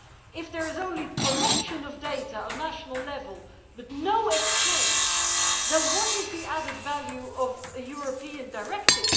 If there is only collection of data at national level but no exchange, then what is the added value of a European directive?